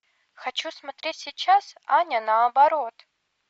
хочу смотреть сейчас аня наоборот